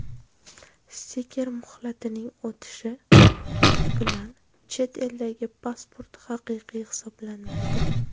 Stiker muhlatining o‘tishi bilan chet eldagi pasport haqiqiy hisoblanmaydi.